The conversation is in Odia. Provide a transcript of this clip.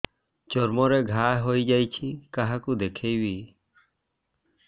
ଚର୍ମ ରେ ଘା ହୋଇଯାଇଛି କାହାକୁ ଦେଖେଇବି